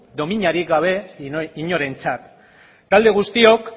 dominari gabe inorentzat talde guztiok